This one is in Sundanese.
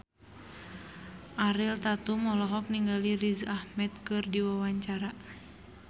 Ariel Tatum olohok ningali Riz Ahmed keur diwawancara